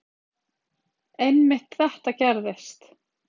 Einmitt þetta gerðist.